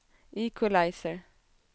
equalizer